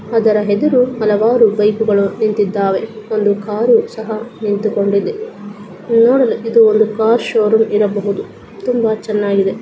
ಆದರೆ ಎದುರು ಹಲವಾರು ಬೈಕು ಗಳು ನಿಂತುಕೊಂಡಿದ್ದಾವೆ ಒಂದು ಕಾರು ಕೂಡ ನಿಂತಿದೆ ನೋಡಲುಇದು ಒಂದು ಕಾರ್ ಶೋರೂಮ್ ಇರಬಹುದು ತುಂಬಾ ಚೆನ್ನಾಗಿದೆ.